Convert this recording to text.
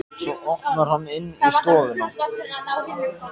Svo opnar hann inn í stofuna.